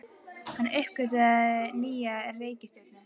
Hann uppgötvaði nýja reikistjörnu!